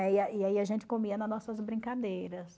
e aí a gente comia nas nossas brincadeiras.